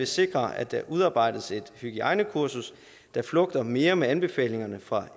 sikre at der udarbejdes et hygiejnekursus der flugter mere med anbefalingerne fra